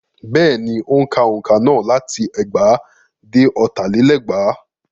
Bẹ́ẹ̀ni, ó ń ka òǹkà náà láti ẹgbàá dé ọ̀tà lé lẹ́gbàá.